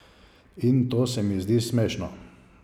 In to se mi zdi smešno.